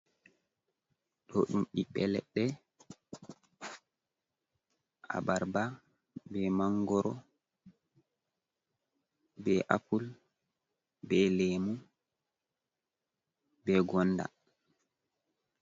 Ɗo ɗum ɓiɓɓe leɗɗe abarba be mangoro be apul be lemu be gonda.